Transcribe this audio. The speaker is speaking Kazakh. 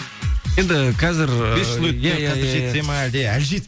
енді қазір